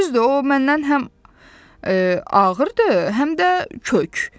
Düzdür, o məndən həm ağırdır, həm də kök.